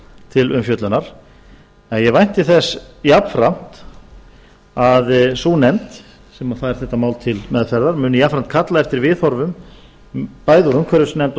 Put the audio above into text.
til umfjöllunar en ég vænti þess jafnframt að sú nefnd sem fær þetta mál til meðferðar muni jafnframt kalla eftir viðhorfum bæði úr umhverfisnefnd